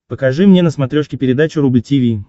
покажи мне на смотрешке передачу рубль ти ви